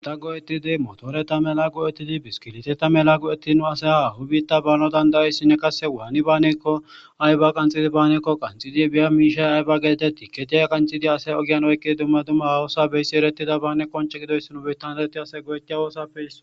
malaqu etid motoreta melaqu etid biskiliteta mela qu etti nu asay awubiitta baano dandayayssinne kase waani baanekko ayba qanxidi baanekko qanxidi biya miishay ayba geetetti keteya qanxidi asay ogiyan oykki dumma dumma hawosa beyssi erettida baane qonce gidoyssnu biittandareti ase gowetia woossappe isso